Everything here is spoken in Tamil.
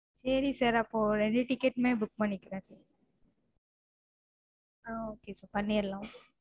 சேரி sir அப்பொ ரெண்டு ticket மே book பண்ணிக்குறன் ஆஹ் okay sir பண்ணிருலாம்